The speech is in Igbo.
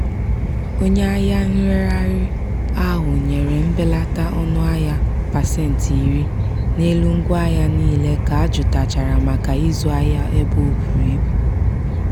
onye ahịa nregharị ahụ nyere mbelata ọnụahịa pasentị iri n'elu ngwaahịa niile ka jụtachara maka ịzụ ahịa ebe o buru ibu.